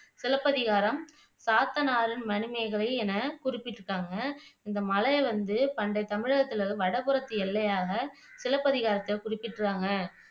சிலப்பதிகாரம், சாத்தனாரின் மணிமேகலை என குறிப்பிட்டிருக்காங்க இந்த மலையை வந்து பண்டைய தமிழகத்துல வடபுறத்து எல்லையாக சிலப்பதிகாரத்துல குறிப்பிடுறாங்க